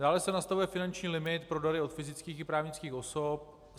Dále se nastavuje finanční limit pro dary od fyzických i právnických osob.